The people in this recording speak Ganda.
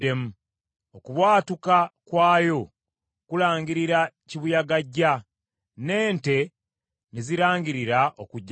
Okubwatuka kwayo kulangirira kibuyaga ajja, n’ente ne zirangirira okujja kwayo.”